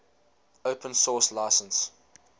open source license